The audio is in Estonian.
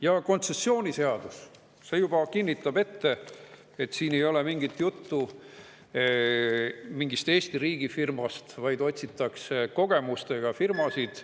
Ja kontsessiooni juba kinnitab, et siin ei ole mingit juttu mingist Eesti riigi firmast, vaid otsitakse kogemustega firmasid.